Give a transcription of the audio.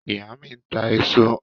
Ìyá mí ń ta èso